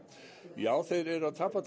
já þeir eru að tapa